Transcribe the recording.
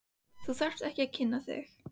Þú þarft ekki að kynna þig.